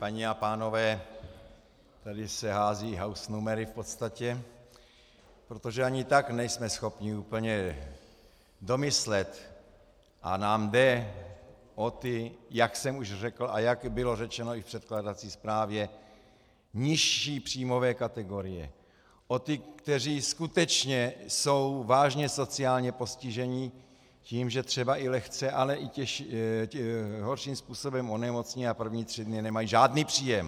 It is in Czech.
Paní a pánové, tady se hází hausnumery v podstatě, protože ani tak nejsme schopni úplně domyslet, a nám jde o ty, jak jsem už řekl a jak bylo řečeno i v předkládací zprávě, nižší příjmové kategorie, o ty, kteří skutečně jsou vážně sociálně postiženi tím, že třeba i lehce, ale i horším způsobem onemocní a první tři dny nemají žádný příjem.